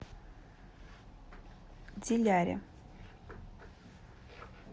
диляре